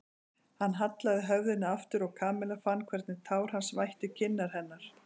Hann hallaði höfðinu aftur og Kamilla fann hvernig tár hans vættu kinnar hennar.